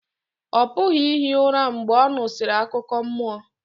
ọ pụghị ihi ụra mgbe ọ nụsịrị akụkọ mmụọ